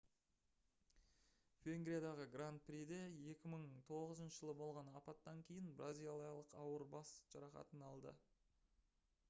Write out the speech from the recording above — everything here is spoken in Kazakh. венгриядағы гранд приде 2009 жылы болған апаттан кейін бразилиялық ауыр бас жарақатын алды